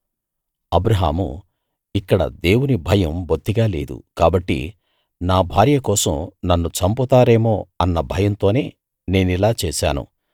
అబ్రాహాము ఇక్కడ దేవుని భయం బొత్తిగా లేదు కాబట్టి నా భార్య కోసం నన్ను చంపుతారేమో అన్న భయంతోనే నేనిలా చేసాను